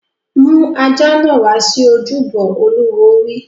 Mú ajá náà wá sí ojúbọ! Olúwo wí.